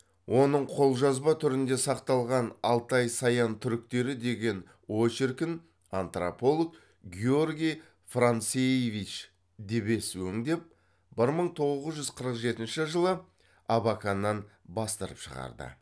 оның қолжазба түрінде сақталған алтай саян түріктері деген очеркін антрополог георгий францеевич дебец өңдеп бір мың тоғыз жүз қырық жетінші жылы абаканнан бастырып шығарды